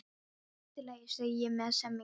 Allt í lagi, segi ég með semingi.